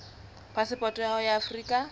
phasepoto ya hao ya afrika